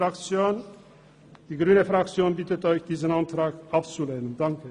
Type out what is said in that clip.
Die grüne Fraktion bittet Sie, diesen Antrag abzulehnen.